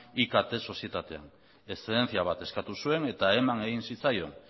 ikt sozietatean eszedenzia bat eskatu zuen eta eman egin zitzaion